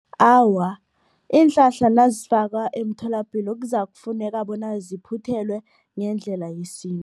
Awa, iinhlahla nazifakwa emtholapilo kuzakufuneka bona ziphuthelwe ngendlela yesintu.